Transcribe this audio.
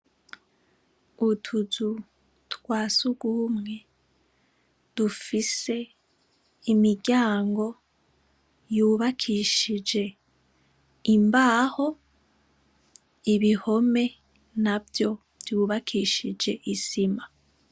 Utuzu twasugumwe dufise imiryango yubakishije imbaho, ibihome navyo vyubakishije Isima .